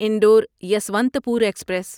Indore Yesvantpur express